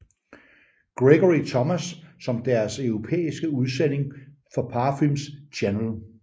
Gregory Thomas som deres europæiske udsending for Parfums Chanel